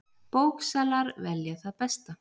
Bóksalar velja það besta